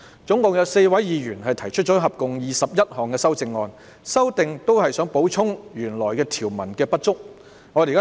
總共有4位議員提出合共21項修正案，目的是就原條文的不足之處作出補充。